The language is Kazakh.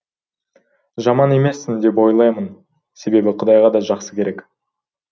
жаман емессін деп ойлаймын себебі құдайға да жақсы керек